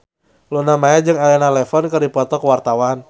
Luna Maya jeung Elena Levon keur dipoto ku wartawan